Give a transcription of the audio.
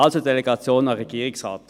Also: Delegation an den Regierungsrat.